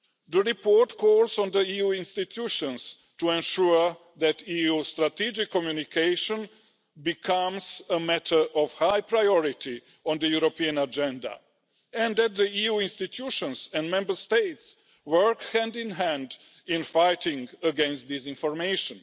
The report calls on the EU institutions to ensure that EU strategic communication becomes a matter of high priority on the European agenda and that the EU institutions and Member States work hand in hand in fighting against disinformation.